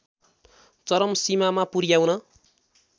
चरम सीमामा पुर्‍याउन